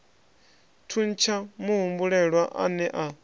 thuntsha muhumbulelwa a ne a